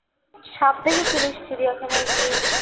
সাপ দেখেছিলিস চিড়িয়াখানায় গিয়ে